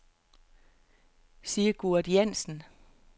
Sigurd Jansen